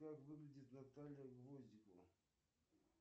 как выглядит наталья гвоздикова